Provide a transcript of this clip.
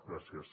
gràcies